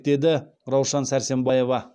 деді раушан сәрсембаева